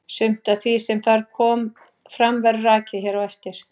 Sumt af því sem þar kom fram verður rakið hér á eftir.